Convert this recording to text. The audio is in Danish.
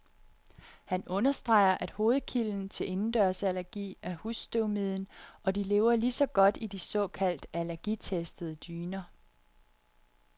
Han understreger, at hovedkilden til indendørsallergi er husstøvmiden, og de lever lige så godt i de såkaldt allergitestede dyner.